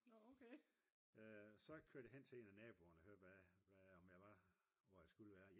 så kørte jeg hen til en af naboerne og hørte hvad om jeg var hvor jeg skulle være